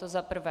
To za prvé.